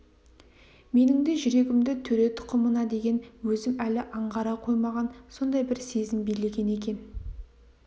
менің де жүрегімді төре тұқымына деген өзім әлі аңғара қоймаған сондай бір сезім билеген екен